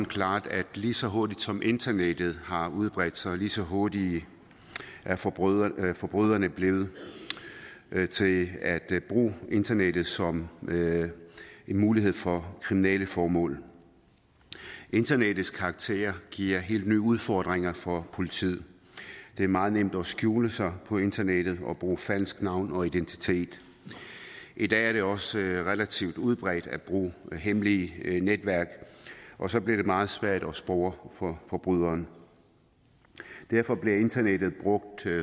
klart at lige så hurtigt som internettet har udbredt sig lige så hurtige er forbryderne forbryderne blevet til at bruge internettet som en mulighed for kriminelle formål internettets karakter giver helt nye udfordringer for politiet det er meget nemt at skjule sig på internettet og bruge falsk navn og identitet i dag er det også relativt udbredt at bruge hemmelige netværk og så bliver det meget svært at spore forbryderne derfor bliver internettet brugt